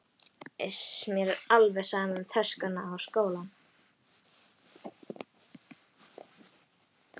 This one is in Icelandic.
Iss, mér er alveg sama um töskuna og skólann